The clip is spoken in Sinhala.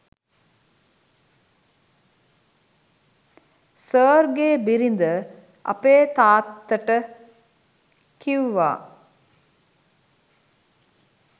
සර්ගේ බිරිඳ අපේ තාත්තට කිව්වා